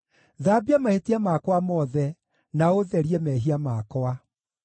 Thambia mahĩtia makwa mothe, na ũũtherie mehia makwa.